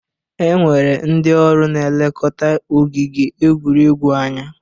E nwere ndị ọrụ n'elekota ogige egwuregwu anya